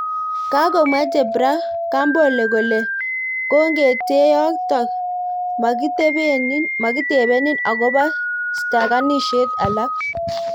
Kagomwa jebra kambole kole kongeteeyotok makitebenin agoba stakinishet alak